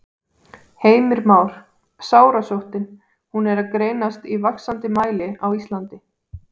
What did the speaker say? Heimir Már: Sárasóttin, hún er að greinast í vaxandi mæli á Íslandi?